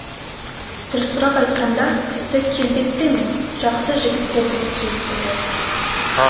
дұрысырақ айтқанда тіпті келбетті емес жақсы жігіттер деп түзетті ол